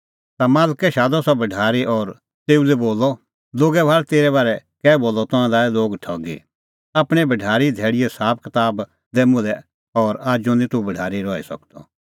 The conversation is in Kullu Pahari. ता मालकै शादअ सह भढारी और तेऊ लै बोलअ लोगै भाल़ तेरै बारै कै बोलअ तंऐं लाऐ लोग ठगी आपणैं भढारीए धैल़ीओ साबकताब दै मुल्है और आजू निं तूह भढारी रही सकदअ